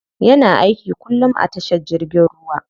Yana aiki kullum a tashar jirgin ruwa.